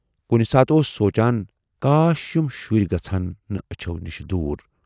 کُنہِ ساتہٕ اوس سونچان کاش یِم شُرۍ گژھٕ ہَن نہٕ ٲچھِو نِش دوٗر۔